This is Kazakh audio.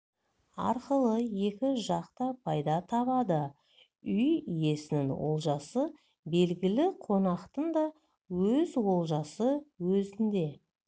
арқылы екі жақ та пайда табады үй иесінің олжасы белгілі қонақтың да өз олжасы өзінде